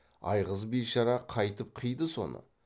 айғыз бишара қайтып қиды соны